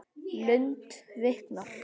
Lund viknar.